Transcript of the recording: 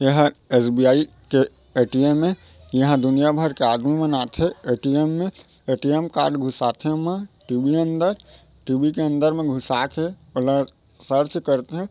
एहा एस_बी_आई के ए_टी_एम ए यहां दुनिया भर के आदमी मन आथे ए_टी_एम में ए_टी_एम कार्ड घुसाथे एमा टी_वी अंदर टी_वी के अंदर घुसा के ओला सर्च करथे ।